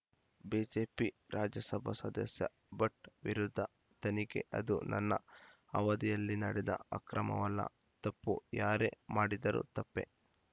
BJP Rajya Sabha ಸದಸ್ಯ ಭಟ್‌ ವಿರುದ್ಧ ತನಿಖೆ ಅದು ನನ್ನ ಅವಧಿಯಲ್ಲಿ ನಡೆದ ಅಕ್ರಮವಲ್ಲ ತಪ್ಪು ಯಾರೇ ಮಾಡಿದರೂ ತಪ್ಪೇ